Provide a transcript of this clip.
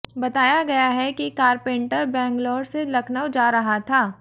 बताया गया है कि कारपेंटर बेंगलोर से लखनऊ जा रहा था